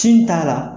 Cin t'a la